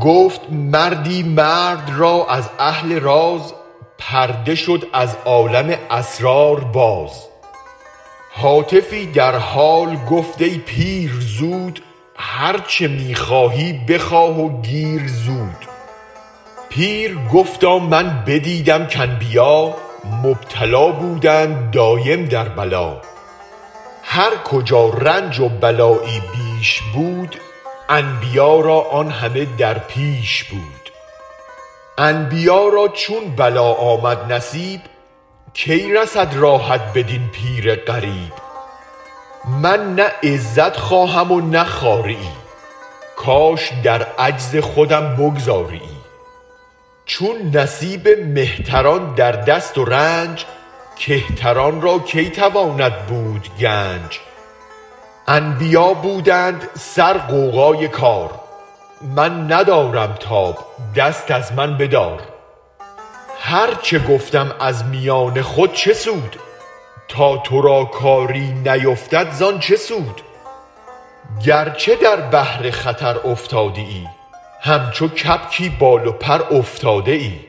گفت مردی مرد را از اهل راز پرده شد از عالم اسرار باز هاتفی در حال گفت ای پیر زود هرچه می خواهی به خواه و گیر زود پیر گفتا من بدیدم کانبیا مبتلا بودند دایم در بلا هر کجا رنج و بلایی بیش بود انبیا را آن همه در پیش بود انبیا را چون بلا آمد نصیب کی رسد راحت بدین پیر غریب من نه عزت خواهم و نه خواریی کاش در عجز خودم بگذاریی چون نصیب مهتران در دست و رنج کهتران را کی تواند بود گنج انبیا بودند سر غوغای کار من ندارم تاب دست از من بدار هرچ گفتم از میان خود چه سود تا ترا کاری نیفتد زان چه سود گرچه در بحر خطر افتاده ای همچو کبکی بال و پرافتاده ای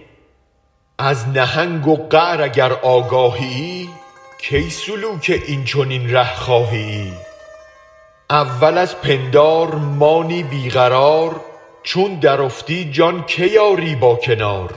از نهنگ و قعر اگر آگاهیی کی سلوک این چنین ره خواهیی اول از پندار مانی بی قرار چون درافتی جان کی آری با کنار